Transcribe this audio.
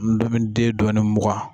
ndomiden dɔɔnin mugan.